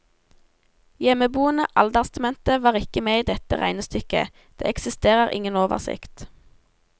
Hjemmeboende aldersdemente var ikke med i dette regnestykket, det eksisterer ingen oversikt.